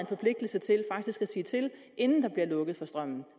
forpligtelse til faktisk at sige til inden der bliver lukket for strømmen